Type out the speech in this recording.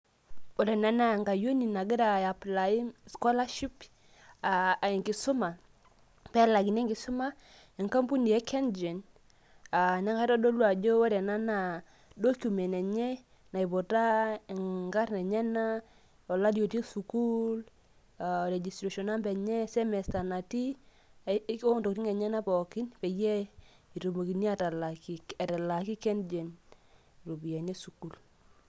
ore ena naa enkayioni nagira ae apply scholarship .aa enkisuma, pee elaakini enkisuma e nkampuni e kengen, neeku ore ena naa document naiputa inkarn enyenak ,olari otiii sukuul. registration number enye, semester natii pee etumokini kengen atalaaki sukuul.